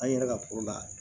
An yɛrɛ ka la